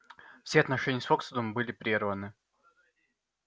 все отношения с фоксвудом были прерваны